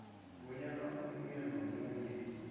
bonyana omunye nomunye